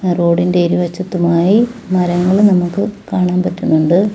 റോഡിന്റെ ഇരുവശത്തുമായി മരങ്ങൾ നമുക്ക് കാണാൻ പറ്റുന്നുണ്ട്.